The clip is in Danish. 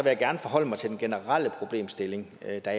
jeg gerne forholde mig til den generelle problemstilling da jeg